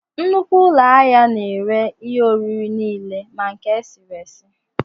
Nnukwu ụlọ ahịa na-ere ihe oriri nile ma nke esiri esi